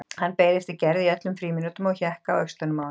Hann beið eftir Gerði í öllum frímínútum og hékk á öxlunum á henni.